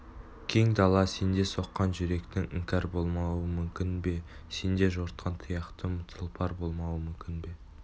кең дала сенде соққан жүректің іңкәр болмауы мүмкін бе сенде жортқан тұяқтың тұлпар болмауы мүмкін бе